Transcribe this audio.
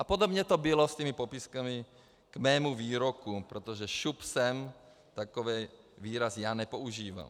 A podobně to bylo s těmi popisky k mému výroku, protože šup sem, takový výraz já nepoužívám.